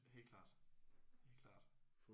Helt klart. Helt klart